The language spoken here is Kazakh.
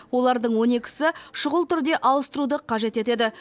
олардың он екісі шұғыл түрде ауыстыруды қажет етеді